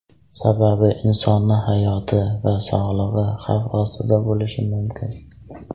Sababi insonning hayoti va sog‘lig‘i xavf ostida bo‘lishi mumkin.